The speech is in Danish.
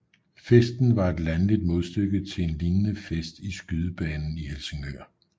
Festen var et landligt modstykke til en lignende fest i Skydebanen i Helsingør